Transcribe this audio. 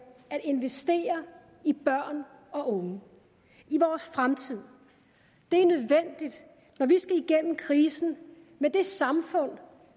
at investere i børn og unge i vores fremtid det er nødvendigt når vi skal gennem krisen med det samfund